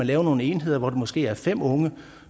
lave nogle enheder hvor der måske er fem unge